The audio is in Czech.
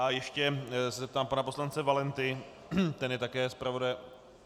A ještě se zeptám pana poslance Valenty, ten je také zpravodajem.